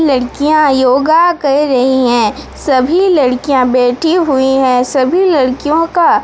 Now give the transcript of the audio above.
लड़कियां योगा कर रही हैं सभी लड़कियां बैठी हुई है सभी लड़कियों का--